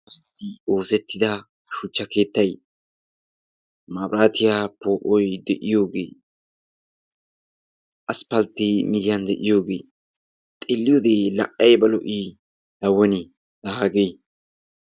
Oosettida shuchcha keettay maabiraatiya poo'oy de'iyooge aspalttee miyyiyan de'iyooge xeelliyode la ayiba lo'ii laa woni hagee!